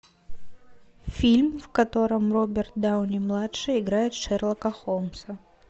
фильм в котором роберт дауни младший играет шерлока холмса